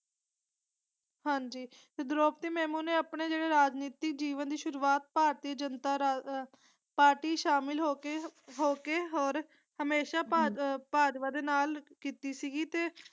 ਹਾਂਜੀ ਤੇ ਦ੍ਰੋਪਦੀ ਮੇਮੋ ਨੇ ਆਪਣੇ ਜਿਵੇ ਰਾਜਨੀਤਿਕ ਜੀਵਨ ਦੀ ਸ਼ੁਰੂਵਾਤ ਭਾਰਤੀ ਜਨਤਾ ਰ ਆਹ ਪਾਰਟੀ ਸ਼ਾਮਿਲ ਹੋਕੇ ਹੋਕੇ ਹੋਰ ਹਮੇਸ਼ਾ ਭਾਜ ਭਾਜਪਾ ਦੇ ਨਾਲ ਕੀਤੀ ਸੀਗੀ ਤੇ।